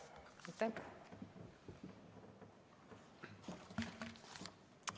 Aitäh!